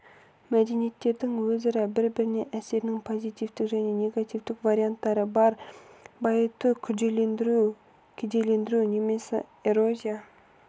мәдениеттердің өзара бір-біріне әсерінің позитивті және негативті варианттары бар байыту күрделілендіру кедейлендіру немесе эрозия